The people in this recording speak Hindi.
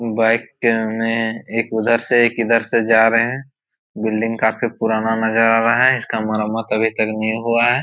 बाइक के हमे एक इधर से एक उधर से जा रहा हैं बिल्डिंग काफी पुराना नज़र आ रहा है इसका मरम्मत अभी तक नहीं हुआ है।